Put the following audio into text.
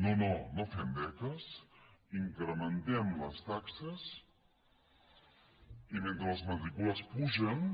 no no no fem beques incrementem les taxes i mentre les matrícules pugen